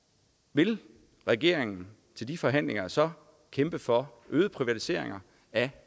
vil regeringen til de forhandlinger så kæmpe for øget privatisering af